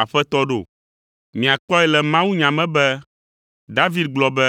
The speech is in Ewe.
‘Aƒetɔ’ ɖo? Miakpɔe le mawunya me be David gblɔ be,